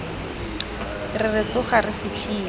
re re tsoga re fitlhele